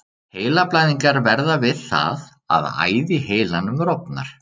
Heilablæðingar verða við það að æð í heilanum rofnar.